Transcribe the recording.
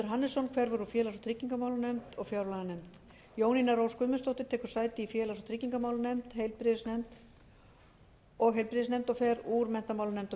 hannesson hverfur úr félags og tryggingamálanefnd og fjárlaganefnd jónína rós guðmundsdóttir tekur sæti í félags og tryggingamálanefnd og heilbrigðisnefnd og fer úr menntamálanefnd og